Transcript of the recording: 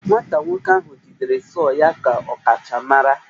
Nwata nwoke ahụ jidere sọọ ka ọkachamara